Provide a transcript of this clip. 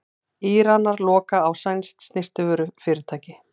Íranar loka á sænskt snyrtivörufyrirtæki